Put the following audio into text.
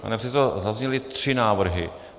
Pane předsedo, zazněly tři návrhy.